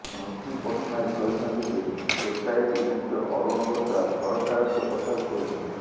ସ୍ମୃତି ପଟ୍ଟନାୟକ କହିଛନ୍ତି ଯେ ଏସଆଇଟି ମୁଖ୍ୟ ଅରୁଣ ବ୍ରୋଥା ସରକାରଙ୍କ କଥାକୁ କହିଛନ୍ତି